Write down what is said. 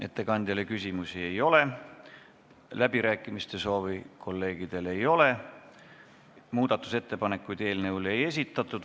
Ettekandjale küsimusi ei ole, kõnesoove kolleegidel ei ole, muudatusettepanekuid eelnõu kohta ei esitatud.